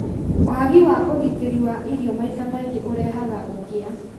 Wagi wa ũgitĩri wa irio maita maingĩ ũrehaga ũkĩa